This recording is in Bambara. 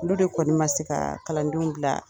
Olu de kɔni man se ka kalandenw bila